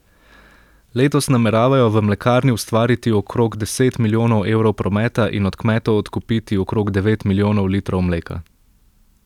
Letos nameravajo v mlekarni ustvariti okrog deset milijonov evrov prometa in od kmetov odkupiti okrog devet milijonov litrov mleka.